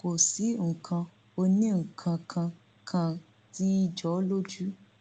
kò sí nǹkan onínǹkan kan tí ì jọ ọ lójú